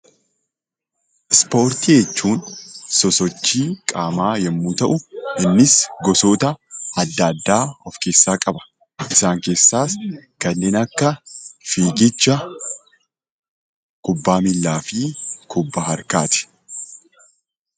Ispoortii jechuun sosochii qaamaa yoo ta’u gosoota adda addaa of keessaa qaba. Isaan keessaas kanneen akka fiigichaa, kubbaa miilaa fi kubbaa harkaati.